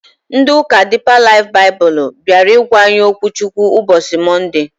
Ndị ụka Diipa Laif Baịbụl bịara ịgwa anyị okwu Chukwu ụbọchị Mọnde